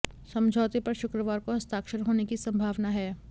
समझौते पर शुक्रवार को हस्ताक्षर होने की संभावना है